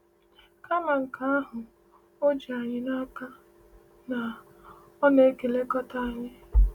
Kama nke ahụ, o ji anyị n’aka na “Ọ na-elekọta anyị.”